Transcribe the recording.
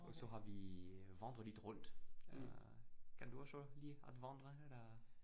Og så har vi vandret lidt rundt øh. Kan du også lide at vandre eller?